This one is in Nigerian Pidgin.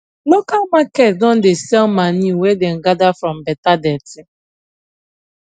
local market don dey sell manure wey dem gather from beta dirty